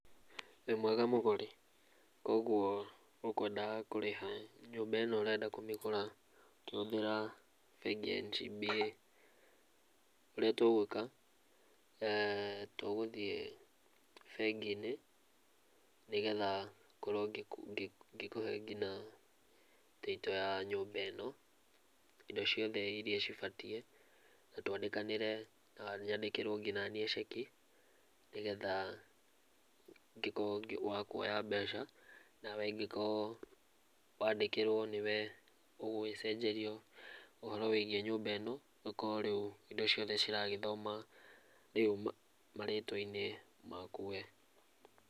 Wĩ mwega mũgũri, koguo ũkũendaga kũrĩha nyũmba ĩno, ũrenda kũmĩgũra ũkĩhũthĩra bengi ya NCBA, ũrĩa tũgũĩka tũgũthiĩ bengi-inĩ, nĩgetha ngorwo ngĩkũhe nginya title ya nyũmba ĩno indo ciothe irĩa cibatiĩ na twandĩkanĩre na nyandĩkĩrwo ngi naniĩ ceki, nĩgetha ngĩkorwo wa kuoya mbeca na wengĩkorwo, wandĩkĩrwo nĩ we ũgũgĩcenjerio ũhoro wĩgiĩ nyũmba ĩno, ũkorwo rĩu indo ciothe ciragĩthoma rĩu marĩtwa-inĩ maku we.